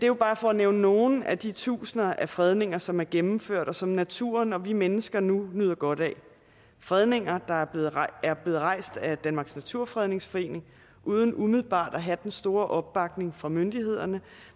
jo bare for at nævne nogle af de tusinder af fredninger som er gennemført og som naturen og vi mennesker nu nyder godt af fredninger der er er blevet rejst af danmarks naturfredningsforening uden umiddelbart at have den store opbakning fra myndighederne